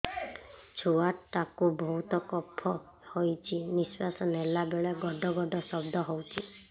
ଛୁଆ ଟା କୁ ବହୁତ କଫ ହୋଇଛି ନିଶ୍ୱାସ ନେଲା ବେଳେ ଘଡ ଘଡ ଶବ୍ଦ ହଉଛି